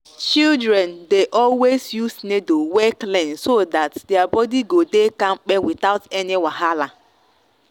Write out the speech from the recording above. children dey always use needle wey clean so that their body go dey kampe without any wahala.